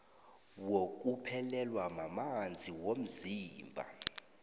wokuphelelwa mamanzi womzimba